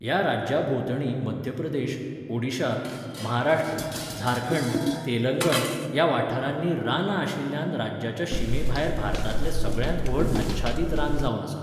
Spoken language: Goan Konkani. ह्या राज्याभोंवतणी मध्य प्रदेश, ओडिशा, महाराष्ट्र, झारखंड, तेलंगण ह्या वाठारांनी रानां आशिल्ल्यान राज्याच्या शिमेभायर भारतांतलें सगळ्यांत व्हड आच्छादीत रान जावन आसा.